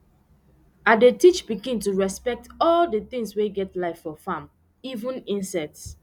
i dey teach pikin to respect all d tings wey get life for farm even insects